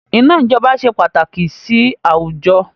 Iná ijọba ṣe pàtàkì sì àwùjọ